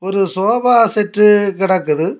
ஒரு sofa set கெடக்குது.